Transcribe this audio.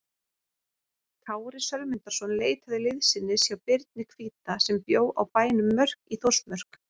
Kári Sölmundarson leitaði liðsinnis hjá Birni hvíta sem bjó á bænum Mörk í Þórsmörk.